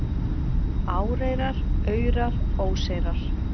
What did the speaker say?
Áreyrar, aurar, óseyrar